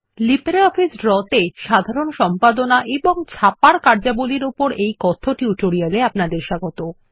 LibreOffice Draw তে সাধারণ সম্পাদনা এবং ছাপার কার্যাবলীর উপর এই কথ্য টিউটোরিয়াল এ আপনাদের স্বাগত